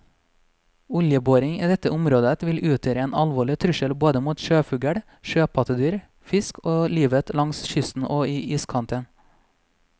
Oljeboring i dette området vil utgjøre en alvorlig trussel både mot sjøfugl, sjøpattedyr, fisk og livet langs kysten og i iskanten.